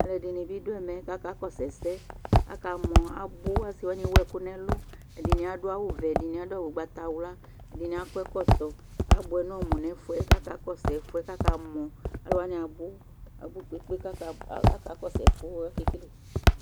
alʊɛdɩnɩ dʊ ɛmɛ kʊ akakɔsʊ ɛsɛ, akɔmɔ abʊ, asiwanɩ ewu ɛkʊ n'ɛlʊ, ɛdɩnɩ adʊ awu vɛ, ɛdɩnɩ adʊ ugbatawla akɔ ɛkɔtɔ, abʊɛ n'ɔmʊ nʊ ɛfʊ yɛ, kʊ akaɔsʊ ɛfʊ yɛ kʊ akamɔ, alʊwanɩ abʊ poo